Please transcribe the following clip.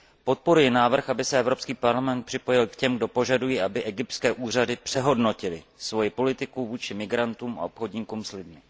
Podporuji návrh, aby se Evropský parlament připojil k těm, kdo požadují, aby egyptské úřady přehodnotily svoji politiku vůči migrantům a obchodníkům s lidmi.